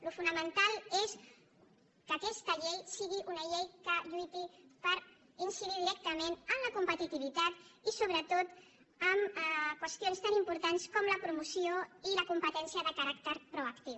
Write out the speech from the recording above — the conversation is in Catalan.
el fonamental és que aquesta llei sigui una llei que lluiti per incidir directament en la competitivitat i sobretot en qüestions tan importants com la promoció i la competència de caràcter proactiu